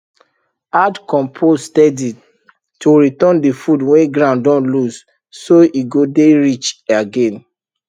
add compost steady to return the food wey ground don lose so e go dey rich again